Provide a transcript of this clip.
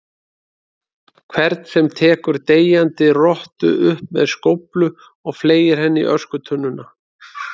hvern sem tekur deyjandi rottu upp með skóflu og fleygir henni í öskutunnuna.